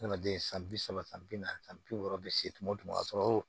Adamaden san bi saba san bi naani san bi wɔɔrɔ be se tuma o tuma ka sɔrɔ